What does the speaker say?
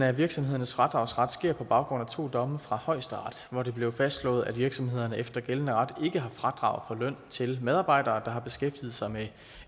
af virksomhedernes fradragsret sker på baggrund af to domme fra højesteret hvor det blev fastslået at virksomhederne efter gældende ret ikke har fradrag for løn til medarbejdere der har beskæftiget sig med